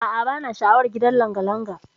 A'a bana sha'awar gidan langalanga.